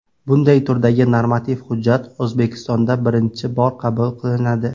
Bunday turdagi normativ hujjat O‘zbekistonda birinchi bor qabul qilinadi.